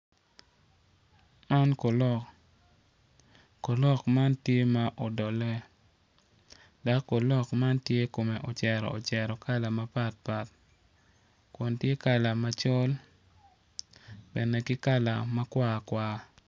Man kolok kolok man tye ma odole dok kolok man tye kome ocero ocero kun tye kala macol bene ki kala makwar kwar.